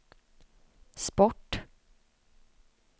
sport